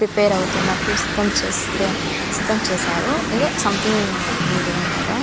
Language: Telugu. ప్రిపేర్ అవుతున్నట్లు సిద్ధం సిద్ధం చేశారు. ఏదో సంథింగ్ మీటింగ్ అనమాట.